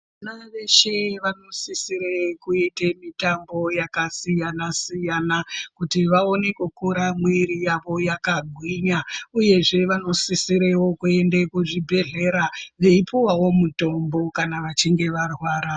Vana veshe vanosisire kuyita mitambo yakasiyana-siyana, kuti vawone kukura mwiri yavo yakagwinya uyezve vanosisirewo kuyende kuzvibhedhlera veyipuwawo mutombo kana vachinge varwara.